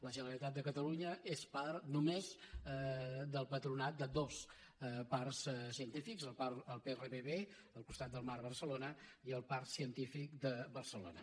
la generalitat de catalunya és part només del patronat de dos parcs científics el prbb al costat del mar a barcelona i el parc científic de barcelona